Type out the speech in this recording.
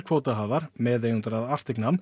kvótahafar meðeigendur að